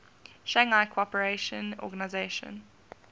shanghai cooperation organization